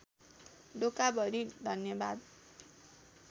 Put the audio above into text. डोकाभरि धन्यवाद